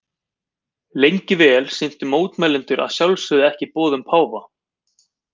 Lengi vel sinntu mótmælendur að sjálfsögðu ekki boðum páfa.